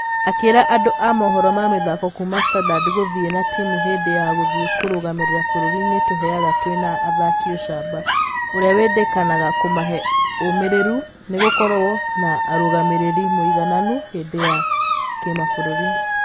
Akĩra andŭ a mũhoro ma mĩthako kuuma standard gũthie na timũ hĩndĩ ya gũthie kũrũgamĩrĩra bũrũri nĩĩtũheaga twĩ na athaki ũcamba. Ũria wĩndekanaga kũmahe ũmĩreru nĩgũgũkorwo na ũrũgamĩrĩri mũigananu hĩndĩ ya ....ya kĩmabũrũri.